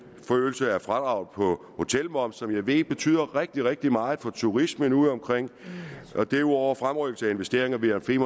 forøgelse af fradrag på hotelmoms som jeg ved betyder rigtig rigtig meget for turismen udeomkring derudover fremrykkelse af investeringerne til